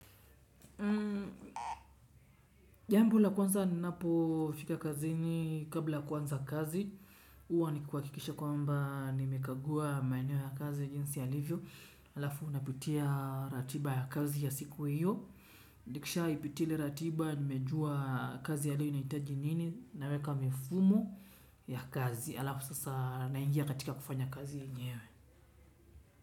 Jambo la kwanza ninapo fika kazini kabla kuanza kazi huwa ni kuha kikisha kwamba nimekagua maaneo ya kazi jinsi ya livyo alafu napitia ratiba ya kazi ya siku hiyo nikisha ipitia ile ratiba nimejua kazi ya leo inahitaji nini naweka mifumo ya kazi alafu sasa naingia katika kufanya kazi yenyewe.